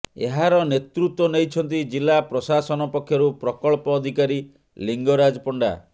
ଏହାର ନେତୃତ୍ୱ ନେଇଛନ୍ତି ଜିଲା ପ୍ରଶାସନ ପକ୍ଷରୁ ପ୍ରକଳ୍ପ ଅଧିକାରୀ ଲିଙ୍ଗରାଜ ପଣ୍ଡା